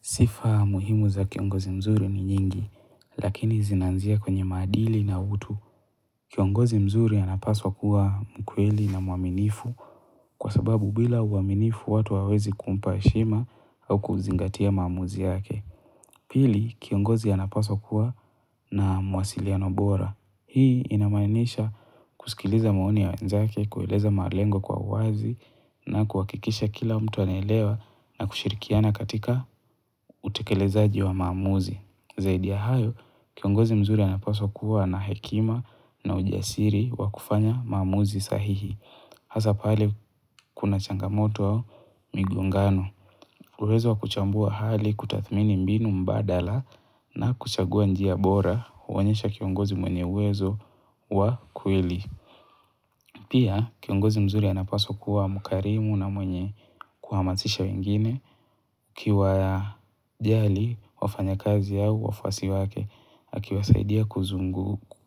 Sifa muhimu za kiongozi mzuri ni nyingi, lakini zinaanzia kwenye maadili na utu. Kiongozi mzuri anapaswa kuwa mkweli na mwaminifu kwa sababu bila uaminifu watu hawawezi kumpa heshima au kuzingatia maamuzi yake. Pili, kiongozi anapaswa kuwa na mawasiliano bora. Hii inamaanisha kusikiliza maoni ya wenzake, kueleza malengo kwa uwazi na kuhakikisha kila mtu anaelewa na kushirikiana katika utekelezaji wa maamuzi. Zaidi ya hayo, kiongozi mzuri anapaswa kuwa na hekima na ujasiri wa kufanya maamuzi sahihi. Hasa pale kuna changamoto au migongano. Uwezo wa kuchambua hali, kutathmini mbinu mbadala na kuchagua njia bora huonyesha kiongozi mwenye uwezo wa kweli. Pia kiongozi mzuri anapaswa kuwa mkarimu na mwenye kuhamasisha wengine akiwajali wafanyakazi au wafuasi wake. Akiwasaidia